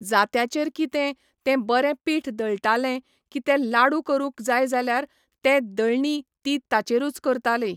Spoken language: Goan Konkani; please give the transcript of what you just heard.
जात्याचेर कितें, तें बरें पीठ दळटाले, की ते लाडू करूंक जाय जाल्यार, ते दळणी ती ताचेरूच करताली.